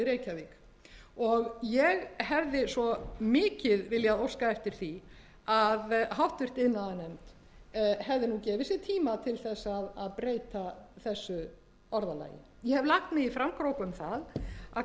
í reykjavík ég hefði svo mikið viljað óska eftir því að háttvirtur iðnaðarnefnd hefði nú gefið sér tíma til þess að breyta þessu orðalagi ég hef lagt mig í framkróka um það að kalla eftir